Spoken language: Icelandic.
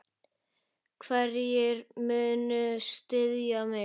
Hverjir munu styðja mig?